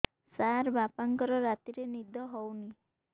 ସାର ବାପାଙ୍କର ରାତିରେ ନିଦ ହଉନି